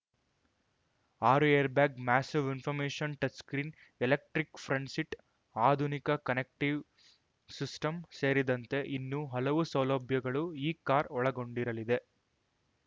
ಆರು airbag massive information touch screen electric front seat ಆಧುನಿಕ connective system ಸೇರಿದಂತೆ ಇನ್ನೂ ಹಲವು ಸೌಲಭ್ಯಗಳು ಈ ಕಾರ್‌ ಒಳಗೊಂಡಿರಲಿದೆ